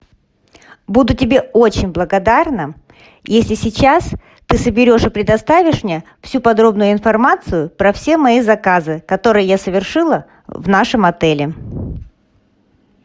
буду тебе очень благодарна если сейчас ты соберешь и предоставишь мне всю подробную информацию про все мои заказы которые я совершила в нашем отеле